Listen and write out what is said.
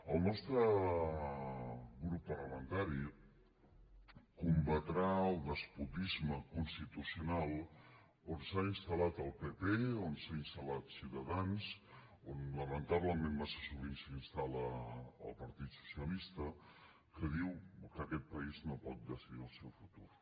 el nostre grup parlamentari combatrà el despotisme constitucional on s’ha installat el pp on s’ha instal·lat ciutadans on lamentablement massa sovint s’instal·la el partit socialista que diu que aquest país no pot decidir el seu futur